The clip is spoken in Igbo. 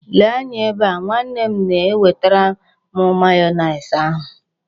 Lee anya ebe a! Nwa m na-ewetere m mayoneesi ahụ.